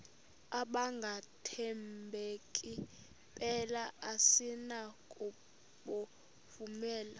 abangathembeki mpela asinakubovumela